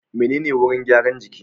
Menene wurin gyaran jiki?